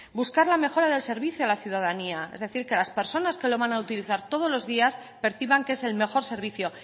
buscar la mejora del servicio a la ciudadanía es decir que las personas que lo van a utilizar todos los días perciban que es el mejor servicio